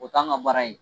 O t'an ka baara ye